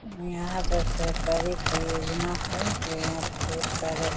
और यहाँ पर सरकारी कोई योजना है सारे --